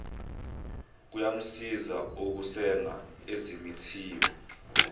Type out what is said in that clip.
kuyamsiza ukusenga ezimithiyo